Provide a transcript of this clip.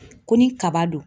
Ko ni kaba don